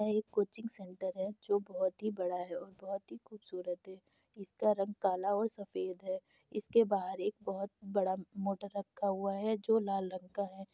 यह एक coaching centre है जो बहुत ही बड़ा है और बहुत ही खूबसूरत है। इसका रंग काला और सफेद है। इसके बाहर एक बहुत बड़ा मोटर रखा हुआ है जो लाल रंग का है।